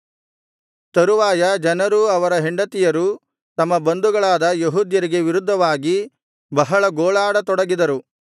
ತರುವಾಯ ಜನರೂ ಅವರ ಹೆಂಡತಿಯರೂ ತಮ್ಮ ಬಂಧುಗಳಾದ ಯೆಹೂದ್ಯರಿಗೆ ವಿರುದ್ಧವಾಗಿ ಬಹಳ ಗೋಳಾಡ ತೊಡಗಿದರು